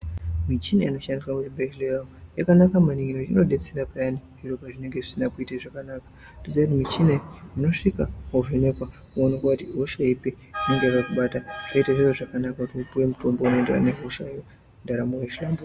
Michina inoshandiswa muzvibhedhlera yakanaka maningi ngekuti inodetsera zviro pazvinenge zvisina kuita zvakanaka nemichina iyi unosvika wovhenekwa woonekwa kuti ihosha ipi inenge yakakubata zvoita zviro zvakanaka upiwe mutombo unoenderana nehosha iyoyo ndaramo yohlamburuka.